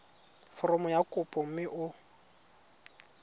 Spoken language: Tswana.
foromo ya kopo mme o